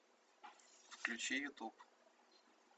включи ютуб